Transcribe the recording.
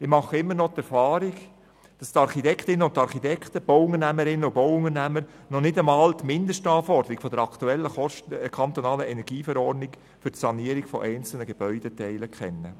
Ich mache immer noch die Erfahrung, dass die Architektin oder der Architekt, Bauunternehmerinnen und Bauunternehmer noch nicht einmal die Mindestanforderungen der aktuellen Kantonalen Energieverordnung vom 26. Oktober 2011 (KEnV) für die Sanierungen für einzelne Gebäudeteile kennen.